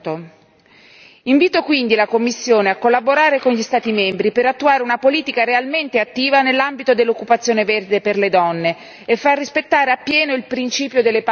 Invito quindi la Commissione a collaborare con gli Stati membri per attuare una politica realmente attiva nell'ambito dell'occupazione verde per le donne e far rispettare appieno il principio delle pari opportunità.